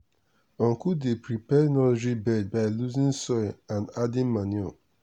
uncle dey prepare nursery bed by loosening soil and adding manure.